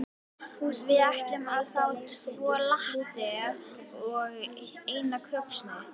Við ætlum að fá tvo latte og eina kökusneið.